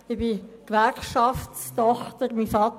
Ich bin Gewerkschaftertochter.